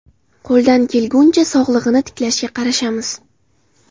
Qo‘ldan kelguncha, sog‘lig‘ini tiklashga qarashamiz.